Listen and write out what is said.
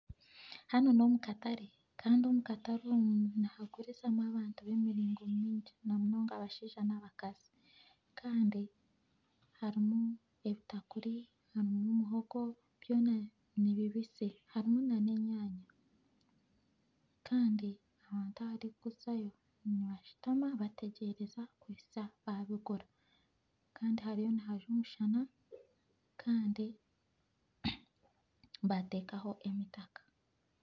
Hanu nomu katare Kandi omu katare omu harimu abantu by'emiringo mingi na munonga abashaija nabakazi Kandi harimu ebitakuri muhogo byona nibibisi Kandi abantu abarikuzayo nibashutama bategyereza kuhitsya babigura Kandi hariyo nihajwa omushana bateekaho entundubaare